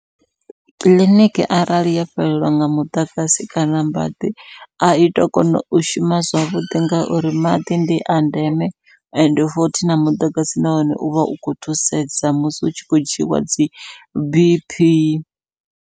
Kiḽiniki arali ya fhelelwa nga muḓagasi kana maḓi ai to kona u shuma zwavhuḓi, ngauri maḓi ndi a ndeme. Ende futhi na muḓagasi nahone uvha u khou thusedza musi hu tshi kho dzhiiwa dzi Bp.